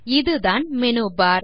இதுதான் மெனுபர்